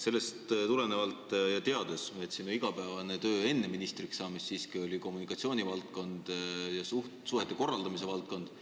Ma tean, et sinu igapäevane töövaldkond enne ministriks saamist oli kommunikatsiooni, suhete korraldamise valdkond.